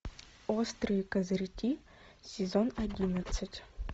острые козырьки сезон одиннадцать